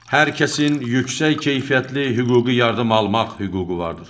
Hər kəsin yüksək keyfiyyətli hüquqi yardım almaq hüququ vardır.